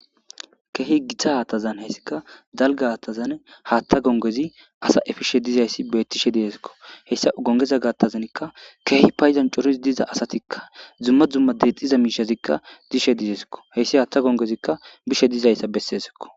Kehi gita hataza haysika dalga hatazan hatha gongezi asa efishe dizasi betishe disiko hesa gongeza gathazanka kehi coriza asatika duma duma detishe diza mishazika dishe desko haysa hatha gongezi bishe disaysa besesiko